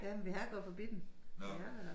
Ja men vi har gået forbi den vi har været deroppe